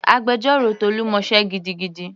Agbẹjọ́rò Tolu mọ sé gidigidi.